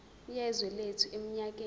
yezwe lethu eminyakeni